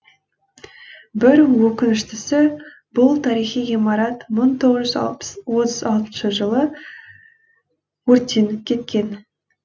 бір өкініштісі бұл тарихи ғимарат мың тоғыз жүз отыз алтыншы жылы өртеніп кеткен